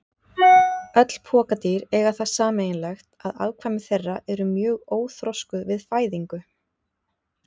Öll pokadýr eiga það sameiginlegt að afkvæmi þeirra eru mjög óþroskuð við fæðingu.